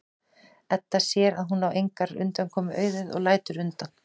Edda sér að hún á engrar undankomu auðið og lætur undan.